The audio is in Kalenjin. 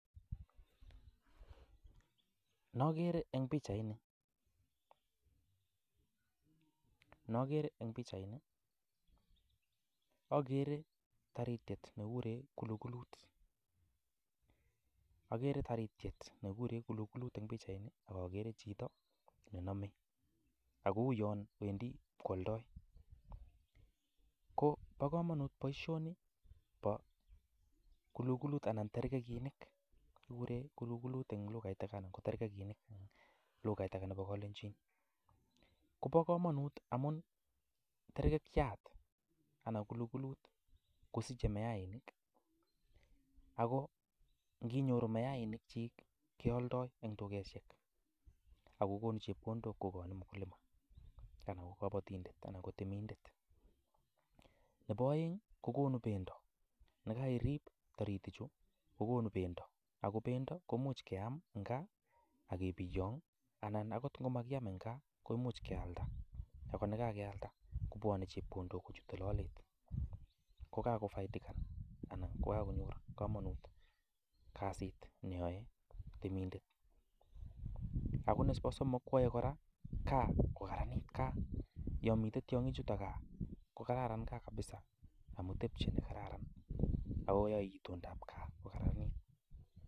Nokere eng pichaini, nokere eng pichaini, akere taritiet ne kikure kulukulut, akere taritiet ne kikure kulukulut eng pichaini ak akere chito ne nome, ak kou yon wendi ipkwoldoi, ko bo kamanut boisioni bo kulukulut anan terkekinik, kikure kulukulut eng lugait age anan ko terkekinik eng lugait ake nebo kalenjin, kobo kamanut amun terkekiat anan kulukulut kosiche mayainik, ako nginyoru mayainikchik kealdoi eng dukesiek ako konu chepkondok kokoini mukulima anan ko kabatindet anan ko temindet, nebo aeng ii kokonu bendo, nekairip taritichu kokonu bendo, ako bendo komuch keam eng gaa ak kebiyong anan akot ngo makiam eng gaa koimuch kealda ako ne kakealda kobwone chepkondok kochute lolet, ko kakofaidikan anan ko kakonyor kamanut kasit neyoe temindet, ako nebo somok kwoe kora gaa kokararanit gaa, yo mitei tiongichutok gaa kokararan gaa kabisa amu tebchei ne kararan ako yoe itondab gaa ko kararanit.